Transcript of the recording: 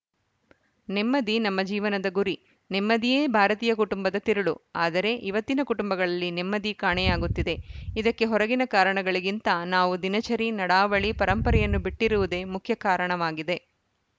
ನೆಮ್ಮದಿ ನಮ್ಮ ಜೀವನದ ಗುರಿ ನೆಮ್ಮದಿಯೇ ಭಾರತೀಯ ಕುಟುಂಬದ ತಿರುಳು ಆದರೆ ಇವತ್ತಿನ ಕುಟುಂಬಗಳಲ್ಲಿ ನೆಮ್ಮದಿ ಕಾಣೆಯಾಗುತ್ತಿದೆ ಇದಕ್ಕೆ ಹೊರಗಿನ ಕಾರಣಗಳಿಗಿಂತ ನಾವು ದಿನಚರಿ ನಡಾವಳಿ ಪರಂಪರೆಯನ್ನು ಬಿಟ್ಟಿರುವುದೇ ಮುಖ್ಯ ಕಾರಣವಾಗಿದೆ